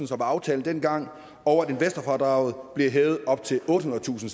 som var aftalen dengang og at investorfradraget bliver hævet op til ottehundredetusind